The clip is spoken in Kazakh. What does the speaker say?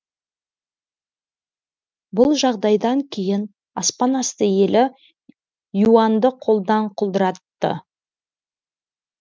бұл жағдайдан кейін аспанасты елі юаньді қолдан құлдыратты